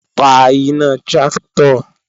Pa iná tráktọ̀!